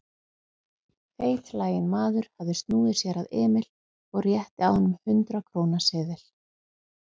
Feitlaginn maður hafði snúið sér að Emil og rétti að honum hundrað-króna seðil.